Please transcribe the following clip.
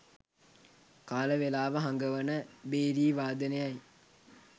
කාලවේලාව හඟවන භේරී වාදනයයි.